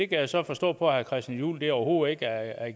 kan så forstå på herre christian juhl at det overhovedet ikke er